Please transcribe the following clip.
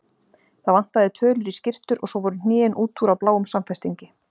Það vantaði tölur í skyrtur og svo voru hnén út úr á bláum samfestingi.